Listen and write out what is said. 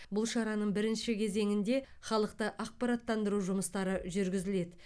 бұл шараның бірінші кезеңінде халықты ақпараттандыру жұмыстары жүргізіледі